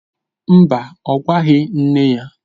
Mba, ọ gwaghị nne ya